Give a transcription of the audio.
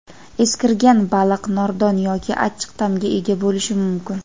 eskirgan baliq nordon yoki achchiq ta’mga ega bo‘lishi mumkin.